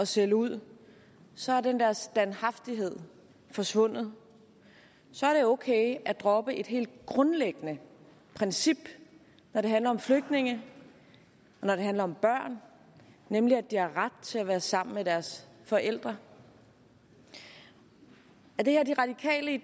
sælge ud så er den der standhaftighed forsvundet så er det okay at droppe et helt grundlæggende princip når det handler om flygtninge og når det handler om børn nemlig at de har ret til at være sammen med deres forældre er det her de radikale i